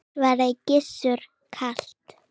svaraði Gizur kalt.